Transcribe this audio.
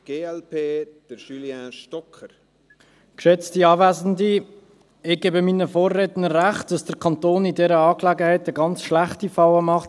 Ich gebe meinen Vorrednern recht, dass der Kanton in dieser Angelegenheit eine ganz schlechte Falle macht.